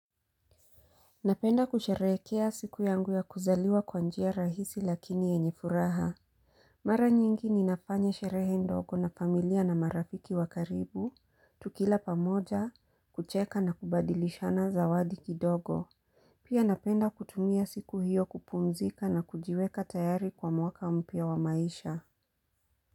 Napenda kusheherekea siku yangu ya kuzaliwa kwa njia rahisi lakini yenye furaha. Mara nyingi ni nafanya sherehe ndogo na familia na marafiki wakaribu, tukila pamoja, kucheka na kubadilishana zawadi kidogo. Pia napenda kutumia siku hiyo kupumzika na kujiweka tayari kwa mwaka mpya wa maisha.